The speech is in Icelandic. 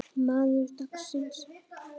Maður dagsins?